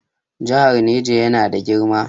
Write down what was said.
Jihar Niger yana na girma.